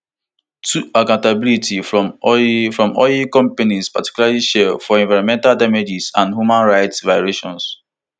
two accountability from oil from oil companies particularly shell for environmental damages and human rights violations